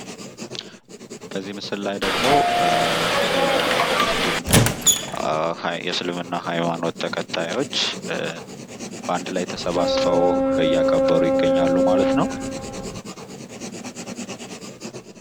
በዚህ ምስል ላይ የሙስሊም የእስልምና ሐይማኖት ተከታዮች በአንድ ላይ ተሰባስበው እያከብሩ ይገኛሉ ማለት ነው።